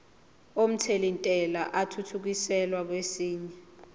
omthelintela athuthukiselwa kwesinye